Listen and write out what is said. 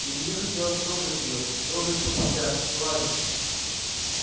илье хотелось трогать её трогать всё подряд гладить